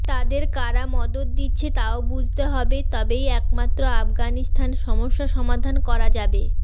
তাদের কারা মদত দিচ্ছে তাও বুঝতে হবে তবেই একমাত্র আগানিস্তান সমস্যা সমাধান করা যাবে